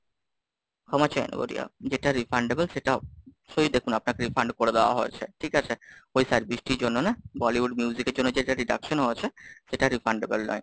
ক্ষমা চেয়ে নেবো রিয়া, যেটা Refundable সেটা অবশ্যই দেখুন আপনাকে refund করে দেওয়া হয়েছে, ঠিক আছে, ওই বৃষ্টির জন্য না, Bollywood music এর জন্য যে deduction ও হয়েছে, সেটা Refundable নয়।